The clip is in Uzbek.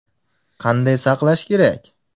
Qanday saqlash kerak?